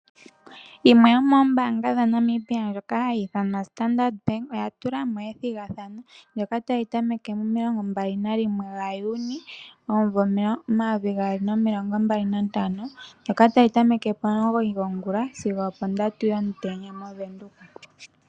Yimwe yomoombaanga dhaNamibia ndjoka hayi ithanwa Standard bank oya tula mo ethigathano ndyoka tali tameke mo21 Juni 2025, ndyoka tali tameke pomulongo gongula sigo ondatu komatango mOvenduka.